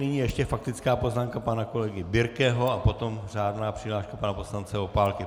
Nyní ještě faktická poznámka pana kolegy Birkeho a potom řádná přihláška pana poslance Opálky.